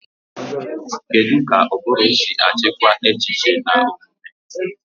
Kedu ka ụbụrụ si achịkwa echiche na omume?